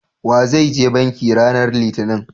wa zai je banki ranan litinin?